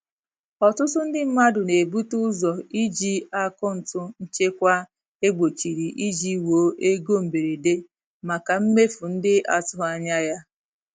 Ọtụtụ ndị mmadụ na-ebute ụzọ iji akaụntụ nchekwa ekpochiri iji wuo ego mberede maka mmefu ndị atụghị anya ya.